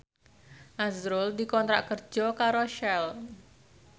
azrul dikontrak kerja karo Shell